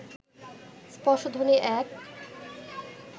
স্পর্শধ্বনি এক